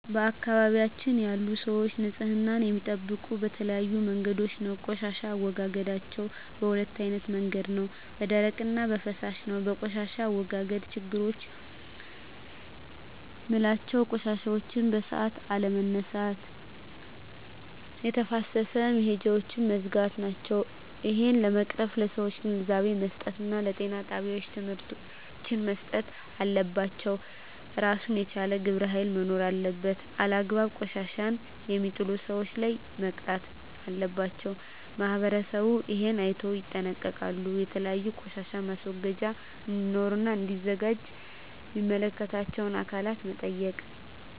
በአካባቢያችን ያሉ ሰዎች ንፅህና የሚጠብቁ በተለያዩ መንገዶች ነው ቆሻሻ አወጋገዳቸዉ በ2አይነት መንገድ ነው በደረቅ እና በፍሳሽ ነው በቆሻሻ አወጋገድ ችግሮች ምላቸው ቆሻሻዎችን በሠአቱ አለመነሳት የተፋሰስ መሄጃውች መዝጋት ናቸው እሄን ለመቅረፍ ለሠዎች ግንዛቤ መስጠት እና ጤና ጣቤዎች ትምህርቶች መሰጠት አለባቸው እራሱን የቻለ ግብረ ሀይል መኖር አለበት አላግባብ ቆሻሻ የሜጥሉ ሠዎች ላይ መቅጣት አለባቸው ማህበረሠቡ እሄን አይነቶ ይጠነቀቃሉ የተለያዩ ቆሻሻ ማስወገጃ እዴኖሩ እና እዲዘጋጁ ሚመለከታቸው አካላት መጠየቅ